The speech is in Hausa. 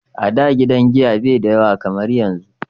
a da gidan giya bai da yawa kamar yanzu